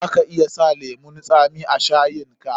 Za ka iya sa lemun tsami a shayin ka.